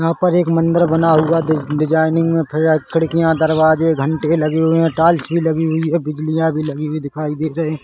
यहा पर एक मंदिर बना हुआ डी डिसाइनिंग मे फिर रहा है खिड़किया दरवाजे घंटे लगे हुए है टाइल्स भी लगी हुई है बिजलियां भी लगी हुवी दिखाई दे रही।